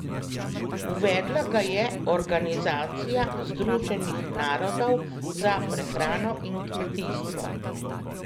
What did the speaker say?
Uvedla ga je Organizacija Združenih narodov za prehrano in kmetijstvo.